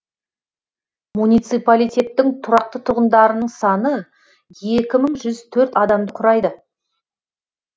муниципалитеттің тұрақты тұрғындарының саны екі мың жүз төрт адамды құрайды